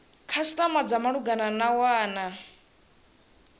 khasitama dza malugana na wana